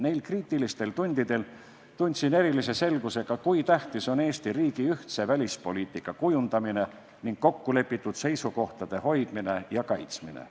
Neil kriitilistel tundidel tundsin erilise selgusega, kui tähtis on Eesti riigi ühtse välispoliitika kujundamine ning kokkulepitud seisukohtade hoidmine ja kaitsmine.